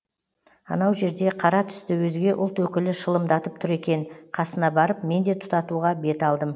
анау жерде қара түсті өзге ұлт өкілі шылымдатып тұр екен қасына барып мен де тұтатуға бет алдым